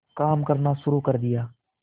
काम करना शुरू कर दिया